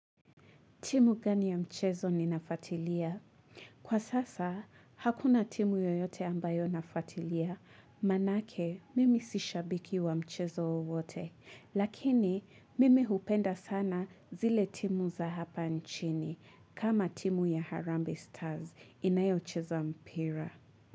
Timu gani ya mchezo ninafatilia? Kwa sasa, hakuna timu yoyote ambayo nafatilia. Manake, mimi si shabiki wa mchezo wowote. Lakini, mimi hupenda sana zile timu za hapa nchini. Kama timu ya Harambe Stars inayocheza mpira.